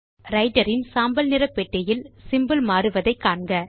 writer இன் சாம்பல் நிற பெட்டியில் சிம்போல் மாறுவதை காண்க